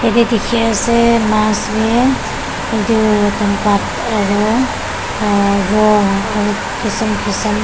yede dikhi ase maas ase edu pankaj aro uh raw aro kisim kisim--